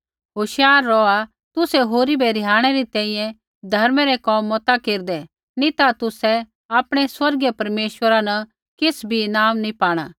होशियार रौहा तुसै होरी बै रिहाणै री तैंईंयैं धर्मै रै कोम मता केरदै नी ता तुसै आपणै स्वर्गीय परमेश्वरा न किछ़ भी ईनाम नैंई पाणा